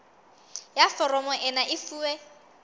ya foromo ena e fuwe